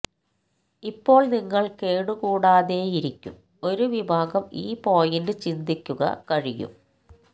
ഇപ്പോൾ നിങ്ങൾ കേടുകൂടാതെയിരിക്കും ഒരു വിഭാഗം ഈ പോയിന്റ് ചിന്തിക്കുക കഴിയും